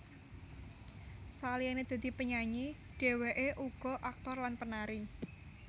Saliyane dadi penyanyi dheweke uga aktor lan penari